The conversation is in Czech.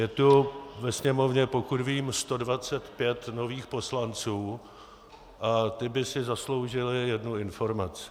Je tu ve Sněmovně, pokud vím, 125 nových poslanců a ti by si zasloužili jednu informaci.